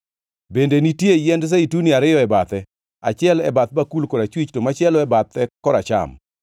Bende nitie yiend Zeituni ariyo e bathe, achiel e bath bakul korachwich to machielo e bathe koracham.”